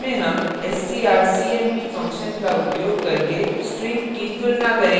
इसमें हम strcmp function का उपयोग करके string की तुलना करेंगे